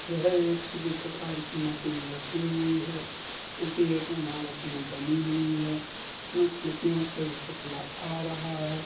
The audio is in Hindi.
यह एक किसी प्रकार की मशीन रखी हुई है जो की एक इमारत में बनी हुई है इसमें खिड़कियों से बहुत उजाला आ रहा है।